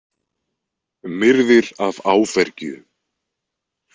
Myrðir af áfergju.